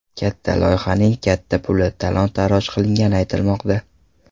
Katta loyihaning katta puli talon-toroj qilingani aytilmoqda .